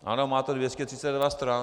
Ano, má to 232 stran.